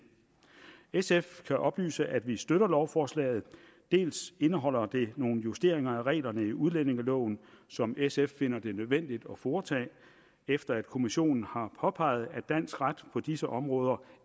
sf kan oplyse at vi støtter lovforslaget dels indeholder det nogle justeringer af reglerne i udlændingeloven som sf finder det nødvendigt at foretage efter at kommissionen har påpeget at dansk ret på disse områder